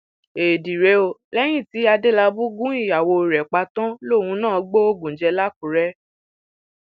éèdì rèé o lẹyìn tí adélábù gun ìyàwó rẹ pa tán lòun náà gbóògùn jẹ làkúrè